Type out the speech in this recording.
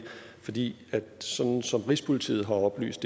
fordi det sådan som rigspolitiet har oplyst